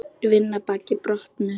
Vinna baki brotnu.